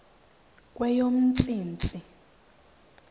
kweyomntsintsi